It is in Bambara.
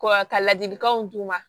ka ladilikanw d'u ma